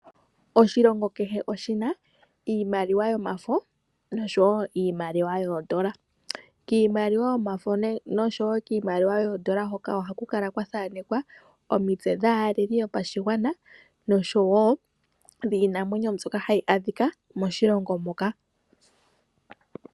Oshilongo kehe oshi na iimaliwa yomafo noshowo iimaliwa yoondola. Kiimaliwa yomafo oshowo kiimaliwa yoondola ohaku kala kwa thaanekwa omitse dhaaleli yopashigwana oshowo dhiinamwenyo mbyoka hayi adhika moshilongo moka.